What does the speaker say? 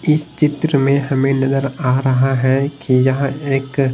इस चित्र में हमें नजर आ रहा है कि यह एक--